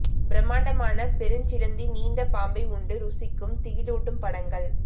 பிரமாண்டமான பெருஞ்சிலந்தி நீண்ட பாம்பை உண்டு ருசிக்கும் திகிலூட்டும் படங்கள்